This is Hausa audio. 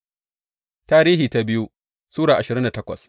biyu Tarihi Sura ashirin da takwas